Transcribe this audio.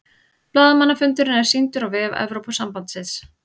Blaðamannafundurinn er sýndur á vef Evrópusambandsins